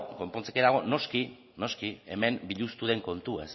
konpontzeke dago noski noski hemen biluztu den kontua